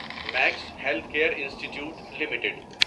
Max health care institute limited